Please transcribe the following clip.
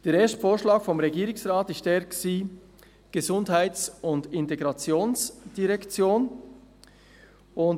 Der erste Vorschlag des Regierungsrates lautete «Gesundheits- und Integrationsdirektion».